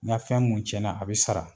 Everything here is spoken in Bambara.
N ka fɛn mun tiɲɛna, a bɛ sara.